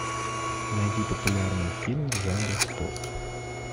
найди популярный фильм в жанре спорт